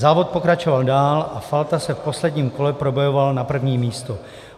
Závod pokračoval dál a Falta se v posledním kole probojoval na první místo.